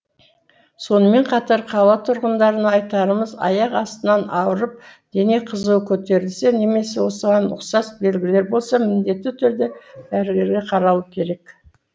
сонымен қатар қала тұрғындарына айтарымыз аяқ астынан ауырып дене қызуы көтерілсе немесе осыған ұқсас белгілері болса міндетті түрде дәрігерге қаралу керек